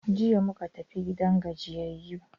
Jiya muka tafi gidan gajiyayu.